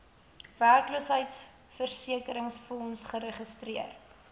werkloosheidversekeringsfonds geregistreer